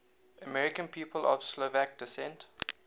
american people of slovak descent